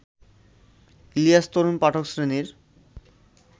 ইলিয়াস তরুণ পাঠক শ্রেণীর